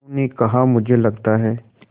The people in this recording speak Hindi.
उन्होंने कहा मुझे लगता है